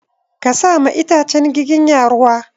Ka sa ma itacen giginya ruwa!